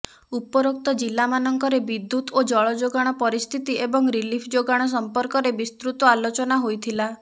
ଉପରୋକ୍ତ ଜିଲ୍ଲାମାନଙ୍କରେ ବିଦ୍ୟୁତ ଓ ଜଳଯୋଗାଣ ପରିସ୍ଥିତି ଏବଂ ରିଲିଫ ଯୋଗାଣ ସଂପର୍କରେ ବିସ୍ତୃତ ଆଲୋଚନା ହୋଇଥିଲା